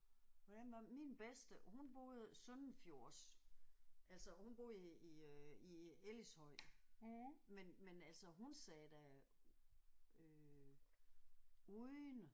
Hvordan var min bedste hun boede søndenfjords altså hun boede i i øh i Ellidshøj men men altså hun sagde da øh unden